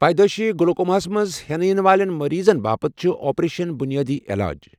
پیدایشی گلوکومہَس منز ہینہٕ یِن والین مریضن باپت چُھ اَپریشَن بنیِٲدی علاج ۔